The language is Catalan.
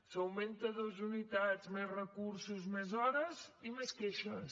s’augmenten dues unitats més recursos més hores i més queixes